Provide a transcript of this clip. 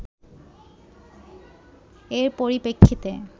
এর পরিপ্রেক্ষিতে